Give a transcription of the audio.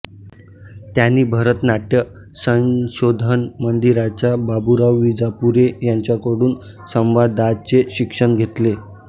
त्यानी भरत नाट्य संशोधन मंदिराच्या बाबुराव विजापुरे यांच्याकडून संवादाचे शिक्षण घेतले